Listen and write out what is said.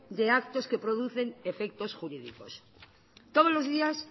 de actos que producen efectos jurídicos todos los días